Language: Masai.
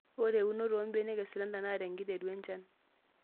Ore eunoto oombenek eslender naa tenkiteru enchan.